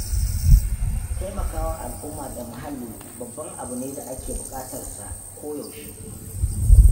Taimakawa al'umma da muhalli babban abu ne da ake da buƙatar sa koyaushe.